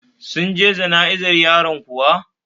Sun je jana'izar yaron kuwa?